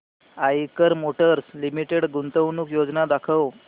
Eicher motors limited गुंतवणूक योजना दाखव